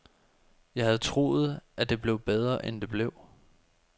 Jeg havde troet, at det blev bedre end det blev.